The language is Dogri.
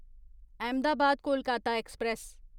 अहमदाबाद कोलकाता एक्सप्रेस